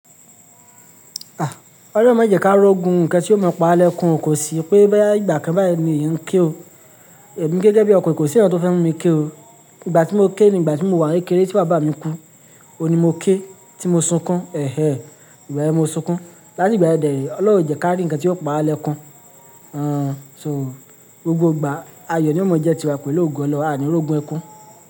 Ah! Ọlọ́run má jẹ ká rọ́ ogun, ǹkan tí ó máa pawa lẹ́kun o kò sí, pé boya ìgbà kan báyìí ni ìyẹn ń ké o. Ẹ̀mi gẹ́gẹ́ bí ọkùnrin kò sí nkan tó fẹ́ mu mi ké o. Ìgbà tí mo ké ni ìgbà tí mo wà ní kékeré tí bàbá mi kú, òun ni mo ké, tí mo sunkún, ẹ́hẹ́! Ìgbà yẹn mo sunkún. Látìgbà yẹn dẹ̀re, Ọlọ́run o jẹ ká rí ǹkan tí yóò pawa lẹ́kun. Àn, so gbogbo ìgbà, ayọ̀ ní ó mọ̀ọ́ jẹ tiwa pẹ̀lú òògùn Ọlọ́run, àní ò rọ̀ ogun ẹkún.